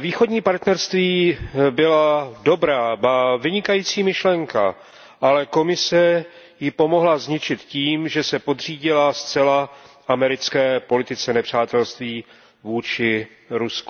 Východní partnerství byla dobrá, ba vynikající myšlenka, ale Komise ji pomohla zničit tím, že se podřídila zcela americké politice nepřátelství vůči Rusku.